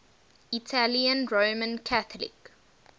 italian roman catholic